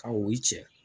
Ka o cɛ